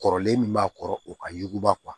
Kɔrɔlen min b'a kɔrɔ o ka ɲuguba